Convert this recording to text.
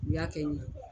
U y'a kɛ n ye